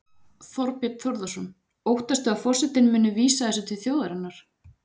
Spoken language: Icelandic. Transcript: Þorbjörn Þórðarson: Óttastu að forsetinn muni vísa þessu til þjóðarinnar?